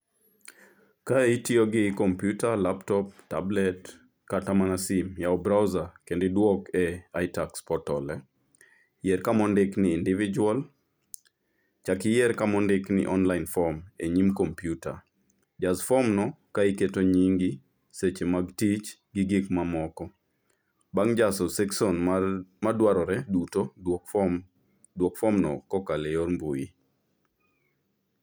Kae itiyo gi kompyuta, laptop, tablet kata mana simu. Yao browser kendo iduok e itax portal, yier kama ondik ni individual, chak iyier kama ondik ni online form e nyim kompyuta, jas form no ka iketo nyingi, seche mag tich gi gik mamoko. Bang' jaso section madwarore duto, duok form, duok form no kokalo e yor mbui